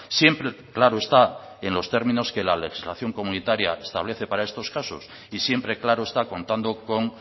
siempre claro está en los términos que la legislación comunitaria que establece para estos casos y siempre claro está contando con